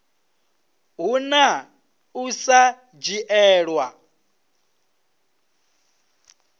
hu na u sa dzhielwa